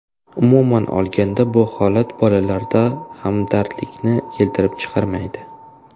Umuman olganda bu holat bolalarda hamdardlikni keltirib chiqarmaydi.